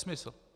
Nesmysl.